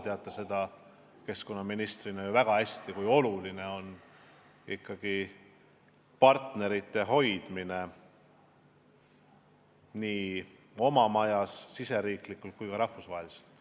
Te teate ju endise keskkonnaministrina väga hästi, kui oluline on ikkagi partnerite hoidmine nii oma majas, riigisiseselt, kui ka rahvusvaheliselt.